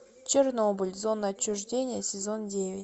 чернобыль зона отчуждения сезон девять